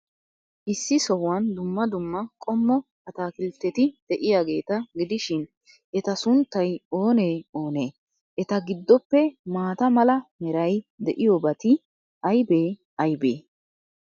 Issi sohuwan dumma dumma qommo ataakiltteti de'iyaageeta gidishin, eta sunttay oonee oonee? Eta giddoppe maata mala meray de'iyoobati aybee aybee?